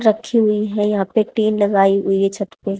रखी हुई है यहां पे टीन लगाई हुई है छत पे।